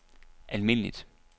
almindeligt